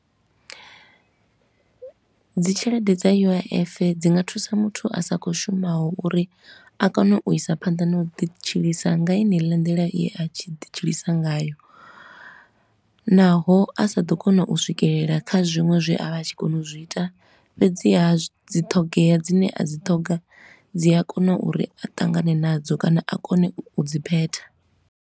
Dzi tshelede dza U_I_F dzi nga thusa muthu a sa khou shumaho uri a kone u isa phanḓa na u ḓi tshilisa nga heneila nḓila ye a vha a tshi ḓi tshilisa ngayo, naho a sa ḓo kona u swikelela kha zwiṅwe zwe a vha a tshi kona u zwi ita. Fhedziha dzi ṱhogea dzine a dzi ṱhoga, dzi a kona uri a ṱangane nadzo kana a kone u dzi phetha.